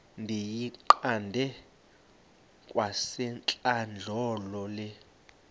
ndiyiqande kwasentlandlolo le